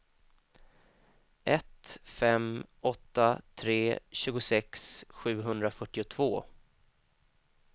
ett fem åtta tre tjugosex sjuhundrafyrtiotvå